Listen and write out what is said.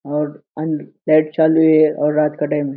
और अन लाइट चालु है और रात का टाइम है।